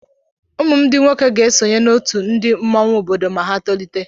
Ụmụ m ndị nwoke ga-esonye n'otu ndị mmọnwụ obodo ma ha tolite.